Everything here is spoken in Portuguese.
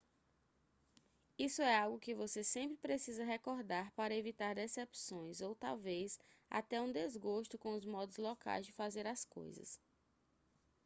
isso é algo que você sempre precisa recordar para evitar decepções ou talvez até um desgosto com os modos locais de fazer as coisas